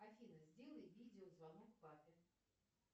афина сделай видеозвонок папе